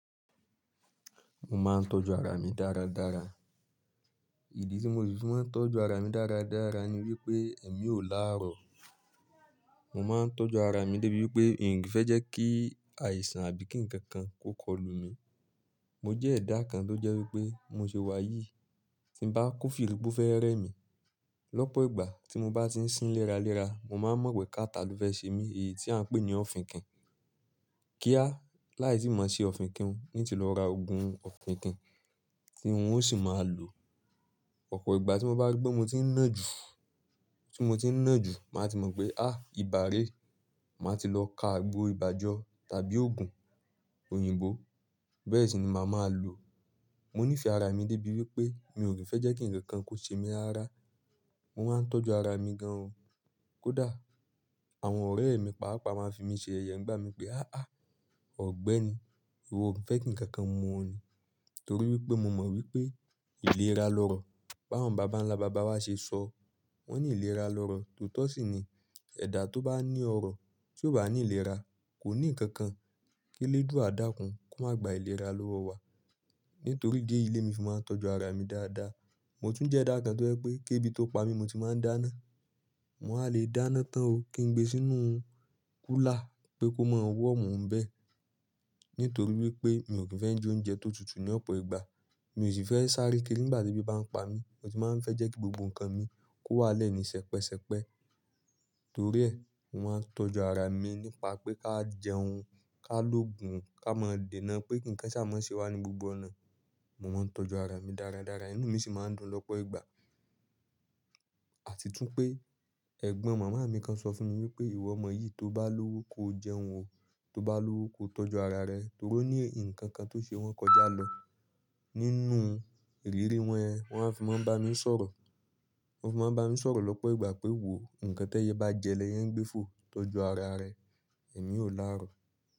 Mo máa ń tọ́jú ara mi dáradára. Ìdí tí mo sì fi máa ń tọ́jú ara mi dáradára ni wípé èmi ò láàrọ̀. Mo máa ń tọ́jú ara mi débi wípé n kii fẹ́ jẹ́ kí àìsàn àbí kí ǹkan kan kó kọlù mi. Mo jẹ́ ẹ̀dá kan tó jẹ́ wípé bi mo ṣe wà yìí tí ń bá kó firí pó fẹ́ rẹ́ mi. Lọ́pọ̀ ìgbà tí mo bá ti ń sín léra léra, mo máa mọ̀ pé catarrh lo fẹ̀ ṣe mí èyí tí à ń pè ní òfinkìn. Kíá láì tíì mọ̀o se òfinkìn un n tí lọ ra òogùn òfinkìn tí un ó sì máa lòo. Ọ̀pọ̀ ìgbà tí mo bá ri pe mo ti ń nà ju, tí mo ti ń nà ju, màá ti mọ̀ pé á ìbà ré, màá ti lọ ká agbo ìbà jọ tàbí òogùn òyìnbó. Bẹ́ẹ̀ sì ni màá máa lò. Mo nífẹ̀ẹ́ ara mi débi wípé mi ò kií fẹ́ jẹ́ kí ǹkan kan kó ṣe mi rara. Mo máa ń tọ́jú ara mi gan o. Kódà àwọn ọ̀rẹ́ mi pàápàá máa ń fi mí ṣe yẹ̀yẹ ńgbá mi pé "áh àh ógbẹ́ni. Ìwọ ò ki n fẹ́ kí ǹkan kan mu ọ ni." torí wípé mo mọ̀ wípé ìlera lọ̀rọ̀. Báwon bàbá ńlá bàbá wa ṣe sọ, wón ní ìlera lọ̀rọ̀. Tòótọ́ sì ni. Ẹ̀dá tó bá ní ọrọ̀ tí ò bá ní ìlera kò ní ǹkan kan. K'eledua dákun kó máa gba ìlera lọ́wọ́ wa. Nítorí idi eyi lémi fì máa ń tọ́jú ara mi dáadáa. Mo tún jẹ́ ẹ̀dá kan tó jẹ́ wípé kébí tó pa mí n mo ti máa ń dáná. Mo wá lè dáná tán o kí n gbe sínú kúlà pé kó máa wọ́omu n bẹ̀. Nítorí wípé mi ò kí n fẹ́ jẹ oúnjẹ tó tutù ní ọ̀pọ̀ ìgbà. Mi ò sì n fẹ́ sáré kiri nígbà tí ebí bá ń pa mí. Mo tì máa ń fẹ́ jẹ́ kí gbogbo ǹkan mi kó wà nle ni sẹpẹsẹpẹ. Torí ẹ, mo máa ń tọ́jú ara mi nípa pé ká jẹun, ká lòògùn, ká máa dènà pé kí ǹkan ṣà mọ́ ṣe wá ní gbogbo ọ̀nà. Mo máa ń tọ́jú ara mi dáradára inú mi sì máa ń dùn lọ́pọ̀ ìgbà. Àti tún pé, ẹ̀gbọ́n màmá mi kan sọ fún mi wípé ìwọ ọmọ yìí toó bá lówó koo jẹun o, tóo bá lówó koo tọ́jú ara rẹ. Torí ó ní ǹkan kan tó ṣe wọn kọjá lọ nínú ìrírí wọn ẹ. Wọn wa fi máa ń bá mi sọ̀rọ̀. Wọn fi máa ń bá mi sọ̀rọ̀ lọ́pọ̀ ìgbà pé wò ó, ǹkan t'ẹyẹ bá jẹ l'ẹyẹ n gbẹ́ fò, tọ́jú ara rẹ, ẹ̀mi ò láàrọ̀